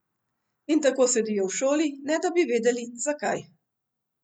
In tako sedijo v šoli, ne da bi vedeli, zakaj.